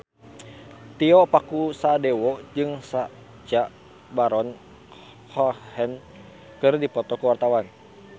Tio Pakusadewo jeung Sacha Baron Cohen keur dipoto ku wartawan